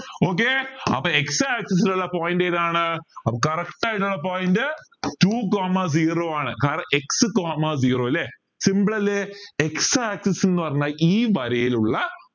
okay അപ്പോ x axis ലുള്ള point ഏതാണ് അപ്പോ correct ആയിട്ടുള്ള point two coma zero ആണ് കാരണം x coma zero ല്ലേ simple ല്ലേ x axis ന്ന് പറഞ്ഞാൽ ഈ വരയിലുള്ള